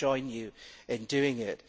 We will join you in doing it.